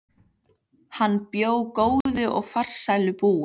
Hann bjó góðu og farsælu búi.